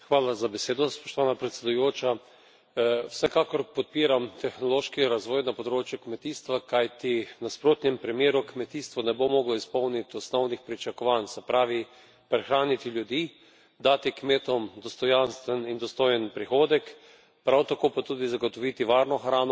Vsekakor podpiram tehnološki razvoj na področju kmetijstva, kajti v nasprotnem primeru kmetijstvo ne bo moglo izpolniti osnovnih pričakovanj, se pravi prehraniti ljudi, dati kmetom dostojanstven in dostojen prihodek, prav tako pa tudi zagotoviti varno hrano in ohraniti zaupanje potrošnikov.